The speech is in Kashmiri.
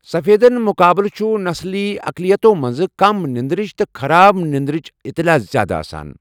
سفیدَن مُقابلہٕ چھُ نسلی اقلیتَو منٛز کم نیٚندٕرٕچ تہٕ خراب نیٚنٛدٕرٕچ اطلاع زِیٛادٕ آسان۔